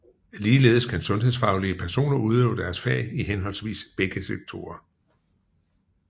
Ligeledes kan sundhedsfaglige personer udøve deres fag i henholdsvis begge sektorer